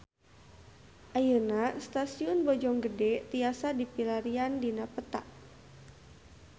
Ayeuna Stasiun Bojonggede tiasa dipilarian dina peta